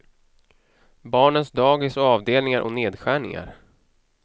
Barnens dagis och avdelningar och nedskärningar.